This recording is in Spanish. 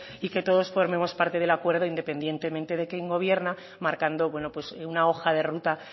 y que todos formemos parte del acuerdo independientemente de quien gobierna marcando una hoja de ruta